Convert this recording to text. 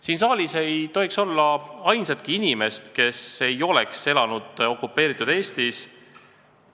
Siin saalis ei ole vist ainsatki inimest, kes ei ole elanud okupeeritud Eestis.